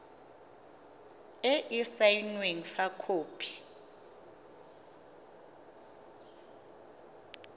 e e saenweng fa khopi